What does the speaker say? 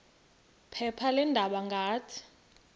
phepha leendaba ngathi